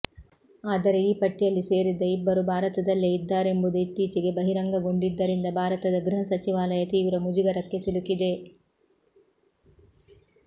ಆದರೆ ಈ ಪಟ್ಟಿಯಲ್ಲಿ ಸೇರಿದ್ದ ಇಬ್ಬರು ಭಾರತದಲ್ಲೇ ಇದ್ದಾರೆಂಬುದು ಇತ್ತೀಚೆಗೆ ಬಹಿರಂಗಗೊಂಡಿದ್ದರಿಂದ ಭಾರತದ ಗೃಹ ಸಚಿವಾಲಯ ತೀವ್ರ ಮುಜುಗರಕ್ಕೆ ಸಿಲುಕಿದೆ